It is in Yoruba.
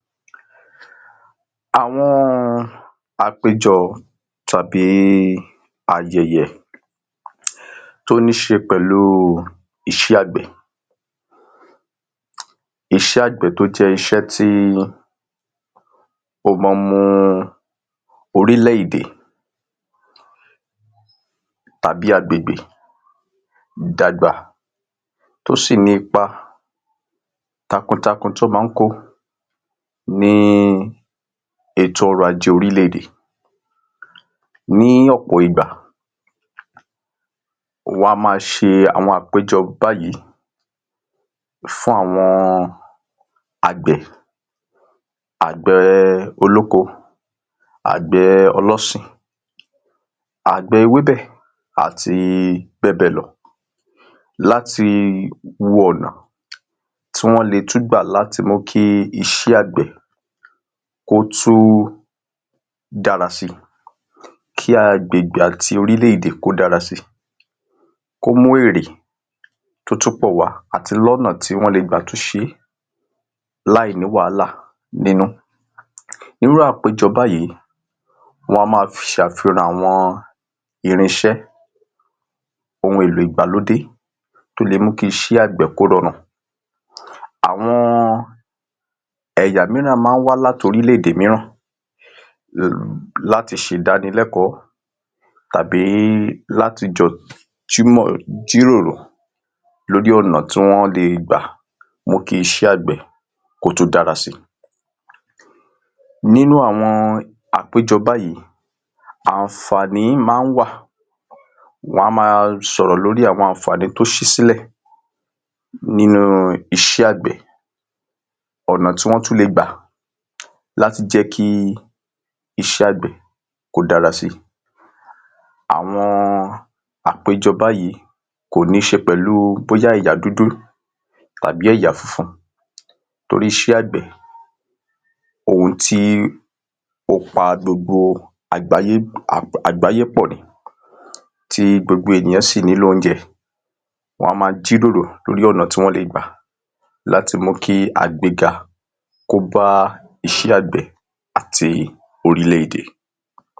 Àwọn àpéjọ tàbí ayẹyẹ tó ní í ṣe pẹ̀lú iṣẹ́ àgbẹ̀, iṣẹ́ àgbẹ̀ tó jẹ́ iṣẹ́ tí ó máa ń mú orílẹ̀-èdè, tàbí agbègbè dàgbà, tó sì nípa takun takun tó máa ń kó ní ètò ọrọ̀-ajẹ́ orílẹ̀-èdè. Ní ọ̀pọ̀ ìgbà, wọn a máa ṣe àwọn àpéjọ báyìí fún àwọn àgbẹ̀, àgbẹ̀ olóko, àgbẹ̀ ọlọsìn, àgbẹ̀ ewébẹ̀ àti bẹ́ẹ̀ bẹ́ẹ̀ lọ, láti wo ọ̀nà tí wọ́n lè tún gbà láti mú kí iṣẹ́ àgbẹ̀ kó tún dára si, kí agbègbè àti orílẹ̀-èdè kó dára si, kó mú èrè tó tún pọ̀ wá, àti lọ́nà tí wọ́n lè gbà tún ṣe é láìní wàhálà nínú. Irú àpéjọ báyìí, wọn a máa ṣàfihàn irinṣẹ, ohun èlò ìgbàlódé tó lè mú kí iṣẹ́ àgbẹ̀ kó rọrùn. Àwọn ẹ̀yà mìíràn máa ń wá láti orílẹ̀-èdè mìíràn, [um]láti ṣe ìdánilẹ́kọ̀ọ́, tàbí láti um jíròrò lórí ọ̀nà tí wọ́n le gbà mú kí iṣẹ́ àgbẹ̀ kó tún dára si. Nínú àwọn àpéjọ báyìí, àǹfàní máa ń wà, wọn a máa sọ̀rọ̀ lórí àwọn àǹfàní tó ṣí sílẹ̀ nínú iṣẹ́ àgbẹ̀, ọ̀nà tí wọ́n tún lè gbà láti jẹ́ kí iṣẹ́ àgbẹ̀ kó dára si, àwọn àpéjọ báyìí kò ní í ṣe pẹ̀lú bóyá ẹ̀yà dúdú tàbí ẹ̀yà funfun, torí iṣẹ́ àgbẹ̀, ohun tí ó pa gbogbo àgbáyé[um] àgbáyé pọ̀ ni, tí gbogbo ènìyàn sì nílò oúnjẹ, wọn a máa jíròrò lórí ọ̀nà tí wọ́n lè gbà láti mú kí àgbéga kó bá iṣẹ́ àgbẹ̀ àti orílẹ̀-èdè